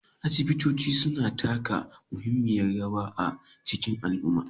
Asibitoci suna taka muhimmiyar rawa a cikin al'umma